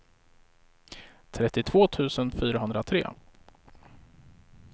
trettiotvå tusen fyrahundratre